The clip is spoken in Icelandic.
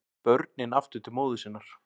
Börnin aftur til móður sinnar